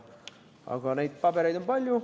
Aga neid pabereid on palju.